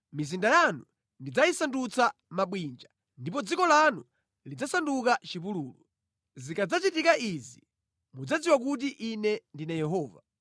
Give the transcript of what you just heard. Mizinda yanu ndidzayisandutsa mabwinja, ndipo dziko lanu lidzasanduka chipululu. Zikadzachitika izi mudzadziwa kuti Ine ndine Yehova.